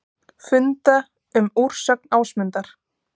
Funda um úrsögn Ásmundar